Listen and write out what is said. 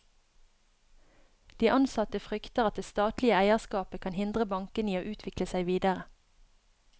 De ansatte frykter at det statlige eierskapet kan hindre bankene i å utvikle seg videre.